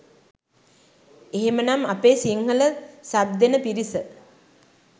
එහෙමනම් අපේ සිංහල සබ් දෙන පිරිස